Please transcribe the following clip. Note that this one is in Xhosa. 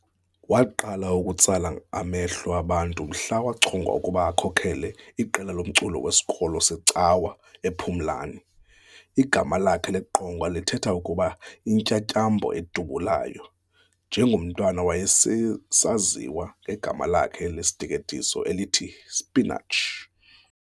Waqala ukutsala amehlo abantu mhla wachongwa ukuba akhokhele iqela lomculo wesikolo secawa ePhumlani. Igama lakhe leqonga lithetha ukuthi "Intyantyambo edubulayo", njengomntwana wayesaziwa ngegama lakhe lesiteketiso elithi "Spinach".